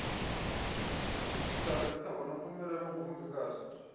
usazisa ngonompumelelo ongumongikazi